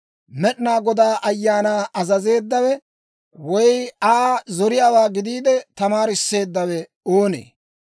Med'inaa Godaa Ayaanaa azazeeddawe, woy Aa zoriyaawaa gidiide tamaarisseeddawe oonee?